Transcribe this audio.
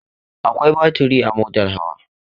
Akwai baturi a motar hawa.